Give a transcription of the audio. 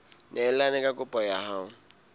neelane ka kopo ya hao